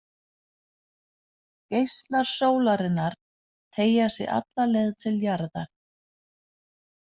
Geislar sólarinnar teygja sig alla leið til jarðar.